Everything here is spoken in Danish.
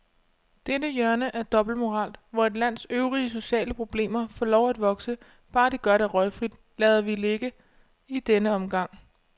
Dette hjørne af dobbeltmoral, hvor et lands øvrige sociale problemer får lov at vokse, bare de gør det røgfrit, lader vi ligge i denne omgang.